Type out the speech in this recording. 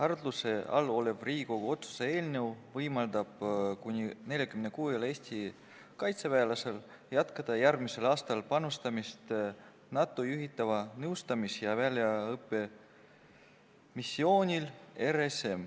Arutluse all olev Riigikogu otsuse eelnõu võimaldab kuni 46-l Eesti kaitseväelasel jätkata järgmisel aastal panustamist NATO juhitaval nõustamis- ja väljaõppemissioonil RSM.